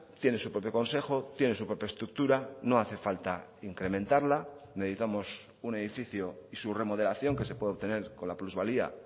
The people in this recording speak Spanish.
tiene su propio consejo tiene su propia estructura no hace falta incrementarla necesitamos un edificio y su remodelación que se puede obtener con la plusvalía